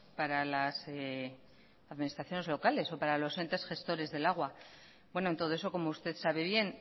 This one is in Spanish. para las administraciones locales o para los entes gestores del agua en todo eso como usted sabe bien